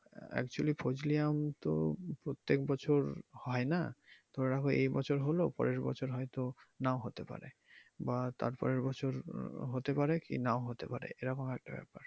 actually ফজলি আম তো প্রত্যেক বছর হয় না ধরা হয় এই বছর হলো পরের বছর হয়তো নাও হতে পারে বা তারপরের বছর আহ হতে পারে কি নাও হতে পারে এরকম একটা ব্যাপার।